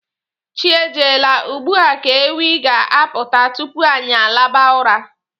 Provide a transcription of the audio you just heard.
Chi ejiela, ugbua ka ewi ga-aputa tupu anyi alaba ụra.